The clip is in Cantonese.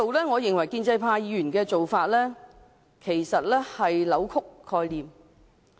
我認為建制派議員的做法，其實是在扭曲概念。